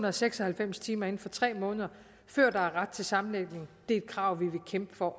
og seks og halvfems timer inden for tre måneder før der er ret til sammenlægning det er et krav vi vil kæmpe for